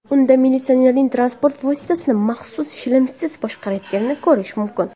Unda militsionerning transport vositasini maxsus shlemsiz boshqarayotganini ko‘rish mumkin.